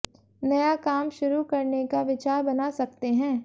नया काम शुरू करने का विचार बना सकते हैं